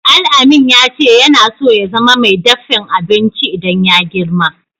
Alamin ya ce yana so ya zama mai daffin abinci idan ya yi girma.